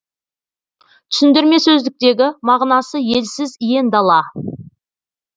түсіндірме сөздіктегі мағынасы елсіз иен дала